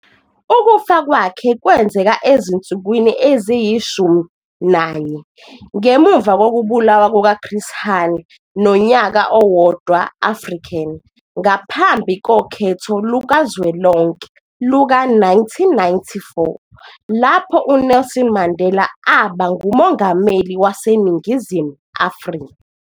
Ukufa kwakhe kwenzeka ezinsukwini eziyi-14.ngemuva kokubulawa kukaChris Hani nonyaka owodwaAfrican ngaphambi kokhetho lukazwelonke luka-1994 lapho uNelson Mandela aba nguMongameli waseNingizimu Afrika.